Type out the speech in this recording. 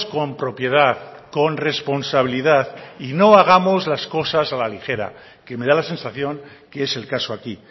con propiedad con responsabilidad y no hagamos las cosas a la ligera que me da la sensación que es el caso aquí